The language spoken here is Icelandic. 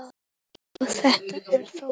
Já, þetta er Þórey.